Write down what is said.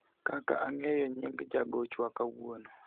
koka ang'eyo nying jagochwa kawuono